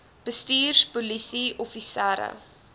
bestuurders polisie offisiere